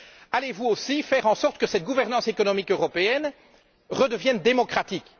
Allez vous également faire en sorte que cette gouvernance économique européenne redevienne démocratique?